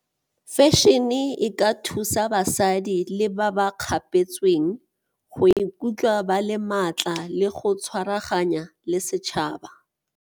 Fashion-e e ka thusa basadi le ba ba kgapetsweng go ikutlwa ba le maatla le go tshwaraganya le setšhaba.